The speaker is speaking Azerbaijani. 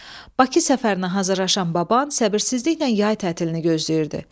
Bakı səfərinə hazırlaşan baban səbirsizliklə yay tətilini gözləyirdi.